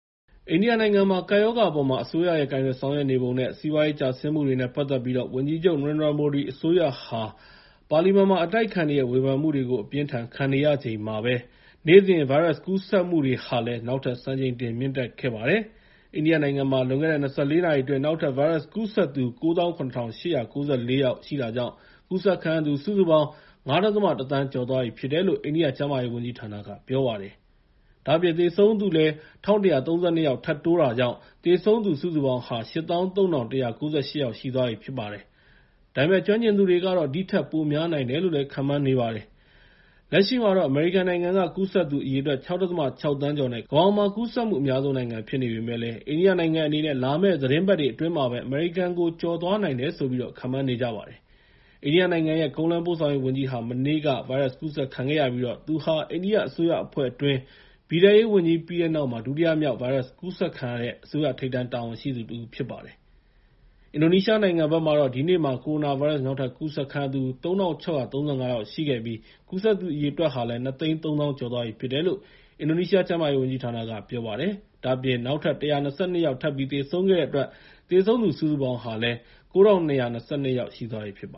အိန္ဒိယနိုင်ငံမှာ ကပ်ရောဂါအပေါ် အစိုးရရဲ့ ကိုင်တွယ်ဆောင်ရွက်နေပုံနဲ့ စီးပွားရေးကျဆင်းမှုတွေနဲ့ ပတ်သက်ပြီး ဝန်ကြီးချုပ် နေရင်ဒရာ မိုဒီအစိုးရဟာ ပါလီမန်မှာ အတိုက်အခံတွေရဲ့ ဝေဖန်မှုတွေကို အပြင်းအထန်ခံရချိန်မှာပဲ နေ့စဉ်ဗိုင်းရပ်စ်ကူးစက်မှုတွေဟာလည်း နောက်ထပ်စံချိန်တင်မြင့်တက်ခဲ့ပါတယ်။ အိန္ဒိယနိုင်ငံမှာ လွန်ခဲ့တဲ့ ၂၄ နာရီအတွင်း နောက်ထပ်ဗိုင်းရပ်စ်ကူးစက်သူ ၉၇,၈၉၄ ယောက် ရှိတာကြောင့် ကူးစက်ခံရသူ စုစုပေါင်း ၅.၁ သန်း ကျော်သွားပြီလို့ အိန္ဒိယကျန်းမာရေးဝန်ကြီးဌာနက ပြောပါတယ်။ ဒါ့အပြင် သေဆုံးသူလည်း ၁,၁၃၂ ယောက်ထပ်တိုးလာတာကြောင့် သေဆုံးသူစုစုပေါင်း ၈၃,၁၉၈ ယောက်ရှိသွားပြီဖြစ်ပါတယ်။ ဒါပေမဲ့ ကျွမ်းကျင်သူတွေကတော့ ဒီထက်ပိုများနိုင်တယ်လို့ ခန့်မှန်းနေပါတယ်။ လက်ရှိမှာတော့ အမေရိကန်နိုင်ငံက ကူးစက်သူအရေအတွက် ၆.၆ သန်းကျော်နဲ့ ကမ္ဘာပေါ်မှာ ကူးစက်မှုအများဆုံးနိုင်ငံဖြစ်ပေမဲ့လည်း အိန္ဒိယနိုင်ငံအနေနဲ့ လာမယ့် သီတင်းပတ်တွေအတွင်းမှာပဲ အမေရိကန်ကို ကျော်သွားနိုင်တယ်လို့ ခန့်မှန်းနေကြပါတယ်။ အိန္ဒိယနိုင်ငံရဲ့ ကုန်းလမ်းပို့ဆောင်ရေးဝန်ကြီးဟာ မနေ့က ဗိုင်းရပ်စ်ကူးစက်ခံခဲ့ရပြီး သူဟာ အိန္ဒိယအစိုးရအဖွဲ့အတွင်း ပြည်ထဲရေးဝန်ကြီးပြီးတဲ့နောက် ဒုတိယမြောက် ဗိုင်းရပ်စ်ကူးစက်ခံရတဲ့ အစိုးရထိပ်တန်းတာဝန်ရှိသူတဦးဖြစ်ပါတယ်။ အင်ဒိုနီးရှားနိုင်ငံမှာတော့ ဒီနေ့မှာ ကိုရိုနာဗိုင်းရပ်စ် နောက်ထပ်ကူးစက်ခံရသူ ၃,၆၃၅ ယောက်ရှိပြီး၊ ကူးစက်သူအရေအတွက်ဟာ ၂၃၀,၀၀၀ ကျော်သွားပြီ ဖြစ်တယ်လို့ အင်ဒိုနီးရှားကျန်းမာရေးဝန်ကြီးဌာနက ပြောပါတယ်။ ဒါ့အပြင် နောက်ထပ် ၁၂၂ ယောက် ထပ်ပြီး သေဆုံးခဲ့တဲ့အတွက် သေဆုံးသူစုစုပေါင်းဟာ ၉,၂၂၂ ယောက် ရှိသွားပြီဖြစ်တ